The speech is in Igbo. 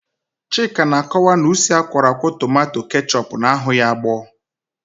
Chika na-akọwa na usi akwọrọakwọ tomanto kechọpu na-aghu ya agbọọ.